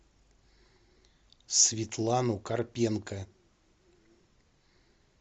светлану карпенко